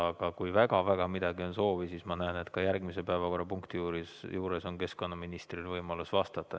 Aga kui väga-väga on soovi, siis ma näen, et ka järgmise päevakorrapunkti juures on keskkonnaministril võimalus vastata.